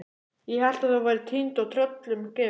Ég hélt að þú værir týnd og tröllum gefin.